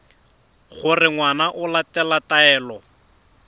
gore ngwana o latela taelo